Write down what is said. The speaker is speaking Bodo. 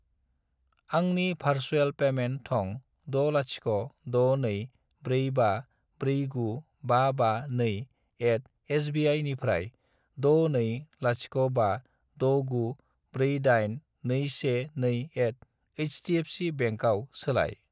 आंनि भारसुएल पेमेन्ट थं 60624549552@sbi निफ्राय 62056948212@hdfcbank आव सोलाय।